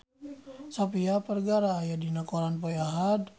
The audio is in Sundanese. Sofia Vergara aya dina koran poe Ahad